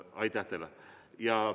Aitäh teile!